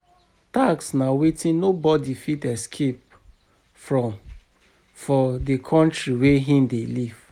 Tax na wetin nobody fit escape from for di country wey im dey live